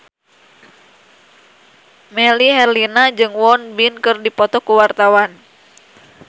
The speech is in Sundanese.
Melly Herlina jeung Won Bin keur dipoto ku wartawan